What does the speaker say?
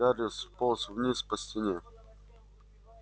гарри сполз вниз по стене